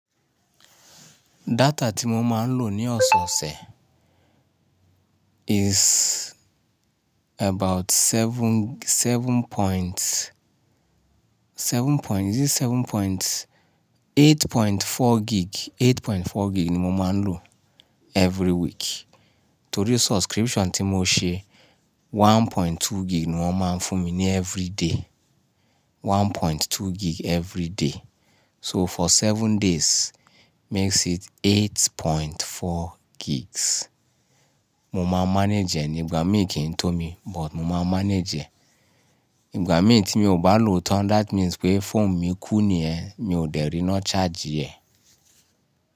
Data tí mo máa ń lò ní ọ̀sẹ̀osẹ̀ is about seven, seven point, seven point, is it seven point, 8.4 gig, 8.4 gig ni mo máa ń lò every week. Torí subscription tí mo ṣe 1.2 gig ni wọ́n máa ń fún mi ní every day. 1.2 gig every day. So for seven days makes it 8.4 gigs. Mo máa manage ẹ ní ìgbà mí kì í tó mi, but mo máa manage ẹ. Ìgbà mí tí mi ò bá lò ó tán, that means pé phone mi kú ni yẹ́n, mi ò dẹ̀ rí iná charge e.